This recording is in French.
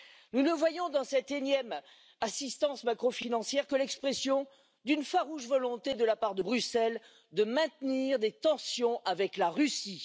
Nous ne voyons dans cette énième assistance macrofinancière que l'expression d'une farouche volonté de la part de Bruxelles de maintenir des tensions avec la Russie.